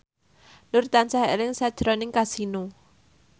Nur tansah eling sakjroning Kasino